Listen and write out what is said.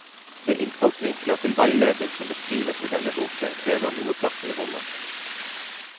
De innfallsvinkler til veiledning som beskrives i denne boken, krever noe plass i rommet.